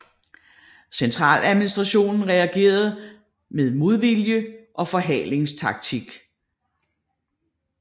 Centraladministrationen reagerede med modvilje og forhalingstaktik